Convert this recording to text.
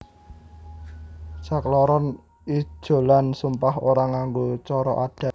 Sakloron ijolan sumpah ora nganggo cara adat